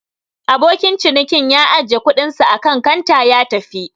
Abokin cinikin ya ajiye kuɗinsa akan kanta ya tafi.